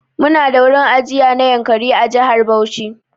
Mu na da wurin ajiya na Yankari a jihar Bauchi.